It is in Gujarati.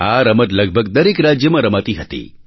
આ રમત લગભગ દરેક રાજ્યમાં રમાતી હતી